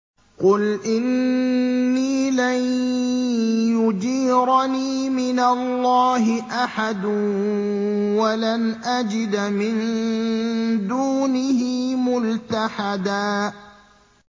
قُلْ إِنِّي لَن يُجِيرَنِي مِنَ اللَّهِ أَحَدٌ وَلَنْ أَجِدَ مِن دُونِهِ مُلْتَحَدًا